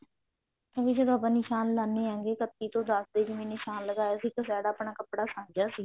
ਉਹ੍ ਜਦੋਂ ਆਪਾਂ ਨਿਸ਼ਾਨ ਲਗਾਉਂਦੇ ਹਾਂ ਕੱਤੀ ਤੋਂ ਦਸ ਦੇ ਜਿਵੇਂ ਨਿਸ਼ਾਨ ਲਗਾਇਆ ਸੀ ਇੱਕ side ਆਪਣਾ ਕੱਪੜਾ ਗਿਆ ਸੀ